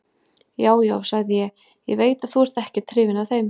Já, já, sagði ég, ég veit að þú ert ekkert hrifinn af þeim.